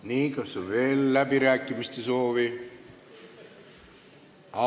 Nii, kas on veel läbirääkimiste soovi?